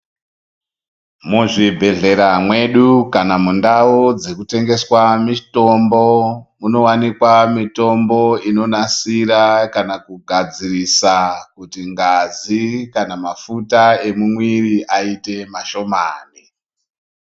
Muzvibhedhlera mwedu kana mundau dzekutengeswa mitombo, munowanikwa mitombo inonasira kana kugadzirisa kuti ngazi kana mafuta emumwiri ayite mashomani.